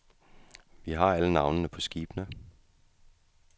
Vi har alle navnene på skibene.